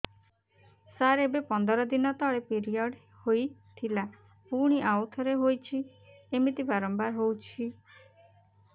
ସାର ଏବେ ପନ୍ଦର ଦିନ ତଳେ ପିରିଅଡ଼ ହୋଇଥିଲା ପୁଣି ଆଉଥରେ ହୋଇଛି ଏମିତି ବାରମ୍ବାର ହଉଛି